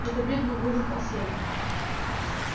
эта битва будет последней